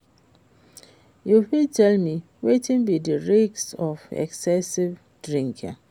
you fit tell me wetin be di risk of excessive drinking?